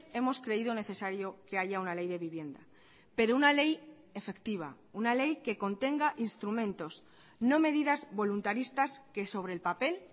hemos creído necesario que haya una ley de vivienda pero una ley efectiva una ley que contenga instrumentos no medidas voluntaristas que sobre el papel